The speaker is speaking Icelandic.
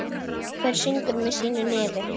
Hver syngur með sínu nefi.